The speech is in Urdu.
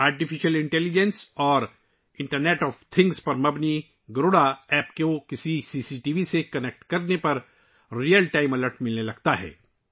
آرٹیفیشل انٹیلی جنس اور انٹرنیٹ آف تھَنگس پر مبنی گروڈا ایپ کو کسی بھی سی سی ٹی وی سے جوڑ کر، آپ کو حقیقی وقت میں الرٹس ملتے ہیں